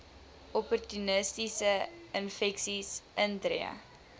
opportunistiese infeksies intree